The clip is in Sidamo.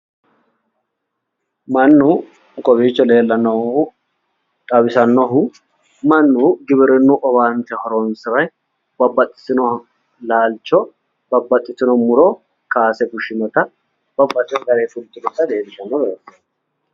Mannu kowiicho leellannohu xawisannohu mannu giwirinnu owaante horonsire babbaxitino laalcho babbaxitino muro kaase fushshinota babbaxitino garinni fultinota leeellishawo misileeti.